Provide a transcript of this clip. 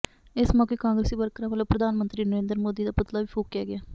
ਇਸ ਮੌਕੇ ਕਾਂਗਰਸੀ ਵਰਕਰਾਂ ਵੱਲੋਂ ਪ੍ਰਧਾਨ ਮੰਤਰੀ ਨਰਿੰਦਰ ਮੋਦੀ ਦਾ ਪੁਤਲਾ ਵੀ ਫੂਕਿਆ ਗਿਆ